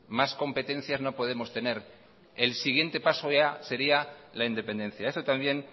más competencias no podemos tener el siguiente paso ya sería la independencia eso también